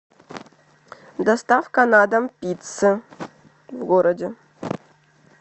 доставка на дом пиццы в городе